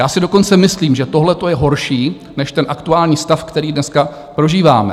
Já si dokonce myslím, že tohle je horší než ten aktuální stav, který dneska prožíváme.